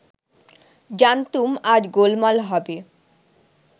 জানতুম আজ গোলমাল হবে